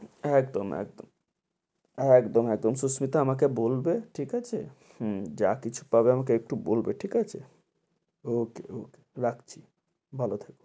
একদম একদম একদম সুস্মিতা আমাকে বলবে ঠিক হম আছে, যা কিছু পাবে আমাকে একটু বলবে ঠিক আছে okay okay রাখছি, ভালো থেকো